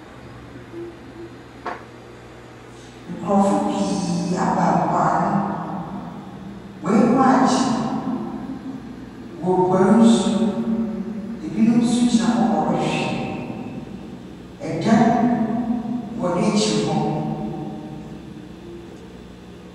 Nkorɔfo pii aba mpoano, hɔn enyiwa agye, woruguar nsu, binom so gyina hɔ ɔwrohwɛ, dan wɔ n’ekyir hɔ.